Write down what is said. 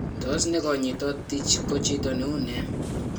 Tos nekonyitot Tij ko chito neune?